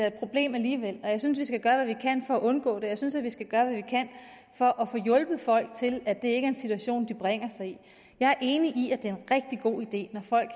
et problem alligevel og jeg synes vi skal gøre hvad vi kan for at undgå det jeg synes vi skal gøre hvad vi kan for at få hjulpet folk til at det ikke er en situation de bringer sig i jeg er enig i at det er en rigtig god idé at folk